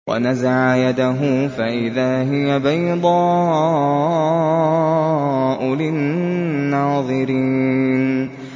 وَنَزَعَ يَدَهُ فَإِذَا هِيَ بَيْضَاءُ لِلنَّاظِرِينَ